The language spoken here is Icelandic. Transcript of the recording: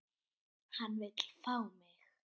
Hann vill fá mig.